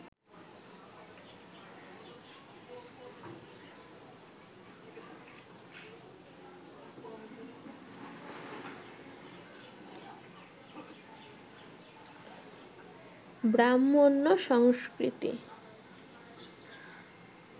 ব্রাহ্মণ্য সংস্কৃতি